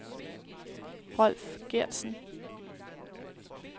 Rolf Gertsen